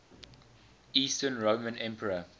eastern roman emperor